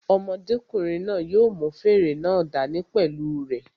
Ọmọdékùnrin náà yóò mú fèrè náà dá ní pẹ̀lú u rẹ̀